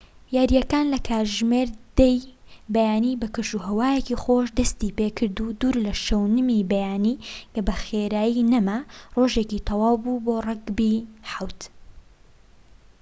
یارییەکان لە کاتژمێر 10:00ی بەیانی بە کەشوهەوایەکی خۆش دەستی پێکرد و دوور لە شەونمی بەیانی کە بە خێرایی نەما، ڕۆژێکی تەواو بوو بۆ ڕەگبی 7‏‎